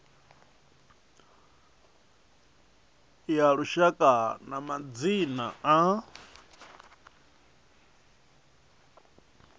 ya lushaka ya madzina a